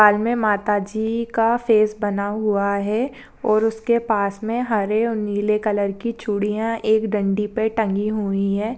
काल मे माताजी का फ़ेस बना हुआ है और उसके पास मे हरे और नीले कलर की चूड़ीया एक डंडी पे टगी हुई है।